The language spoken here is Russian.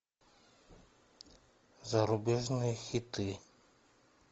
зарубежные хиты